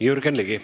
Jürgen Ligi.